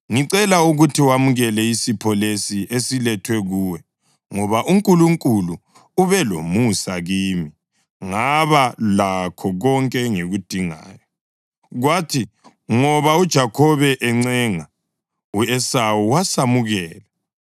Ngicela ukuthi wamukele isipho leso esilethwe kuwe, ngoba uNkulunkulu ube lomusa kimi, ngaba lakho konke engikudingayo.” Kwathi ngoba uJakhobe encenga, u-Esawu wasamukela.